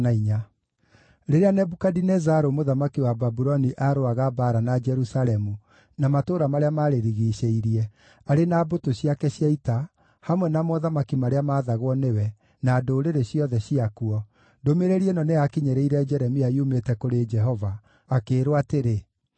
Rĩrĩa Nebukadinezaru mũthamaki wa Babuloni aarũaga mbaara na Jerusalemu na matũũra marĩa maarĩrigiicĩirie, arĩ na mbũtũ ciake cia ita, hamwe na mothamaki marĩa maathagwo nĩwe, na ndũrĩrĩ ciothe ciakuo, ndũmĩrĩri ĩno nĩyakinyĩrĩire Jeremia yumĩte kũrĩ Jehova, akĩĩrwo atĩrĩ,